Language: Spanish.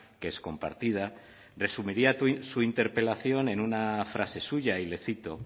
que es compartida resumiría su interpelación en una frase suya y le cito